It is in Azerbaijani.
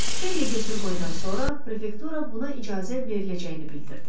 Xeyli götür-qoydan sonra prefektura buna icazə veriləcəyini bildirdi.